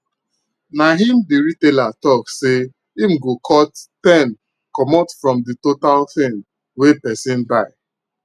na him the retailer talk say him go cut ten commot from the total thing wey person buy